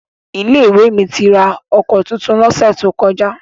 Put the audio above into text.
Ilé-ìwé mi ra ọkọ̀ tuntun lọ́sẹ̀ tó kọjá.